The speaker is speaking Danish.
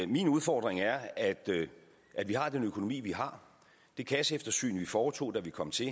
min udfordring er at vi har den økonomi vi har det kasseeftersyn vi foretog da vi kom til